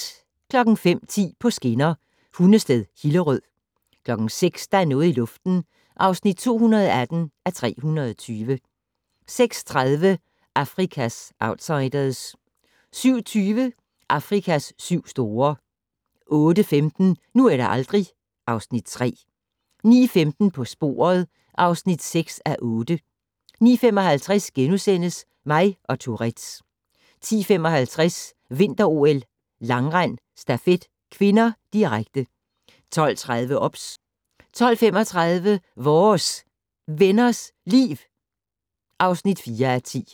05:10: På skinner: Hundested-Hillerød 06:00: Der er noget i luften (218:320) 06:30: Afrikas outsiders 07:20: Afrikas syv store 08:15: Nu eller aldrig (Afs. 3) 09:15: På sporet (6:8) 09:55: Mig og Tourettes * 10:55: Vinter-OL: Langrend - stafet (k), direkte 12:30: OBS 12:35: Vores Venners Liv (4:10)